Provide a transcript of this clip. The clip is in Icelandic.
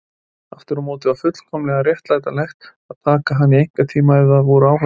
Aftur á móti var fullkomlega réttlætanlegt að taka hana í einkatíma ef það voru áhorfendur.